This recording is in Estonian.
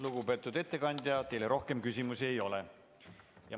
Lugupeetud ettekandja, teile rohkem küsimusi ei ole.